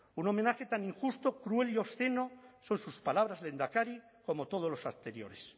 un homenaje tan injusto cruel y obsceno son sus palabras lehendakari como todos los anteriores